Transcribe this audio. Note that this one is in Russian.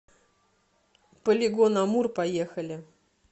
полигон амур поехали